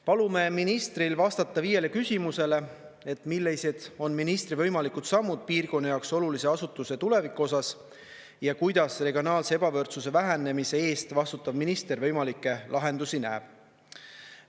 Palume ministril vastata viiele küsimusele, millised on ministri võimalikud sammud piirkonna jaoks olulise asutuse tuleviku osas ja kuidas regionaalse ebavõrdsuse vähenemise eest vastutav minister võimalikke lahendusi näeb.